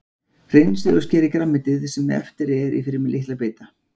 Hreinsið og skerið grænmetið sem eftir er í fremur litla bita.